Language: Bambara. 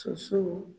Sosow